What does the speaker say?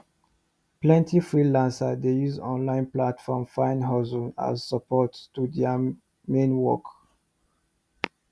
plenty freelancers dey use online platform find husstle as support to thier main work